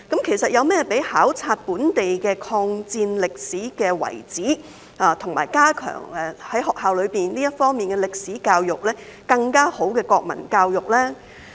其實，有甚麼比考察本地的抗戰歷史遺址，以及在學校內加強這方面的歷史教育，更加好的國民教育呢？